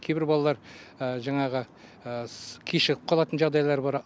кейбір балалар жаңағы кешігіп қалатын жағдайлары бар